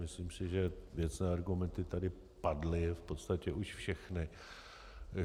Myslím si, že věcné argumenty tady padly v podstatě už všechny.